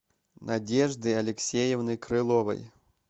надежды алексеевны крыловой